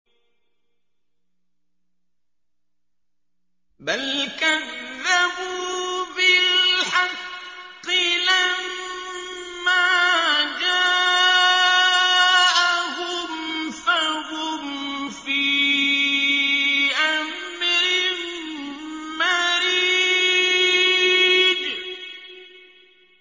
بَلْ كَذَّبُوا بِالْحَقِّ لَمَّا جَاءَهُمْ فَهُمْ فِي أَمْرٍ مَّرِيجٍ